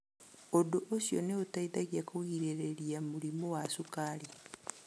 Ũndũ ũcio nĩ ũteithagia kũgirĩrĩria mũrimũ wa cukari.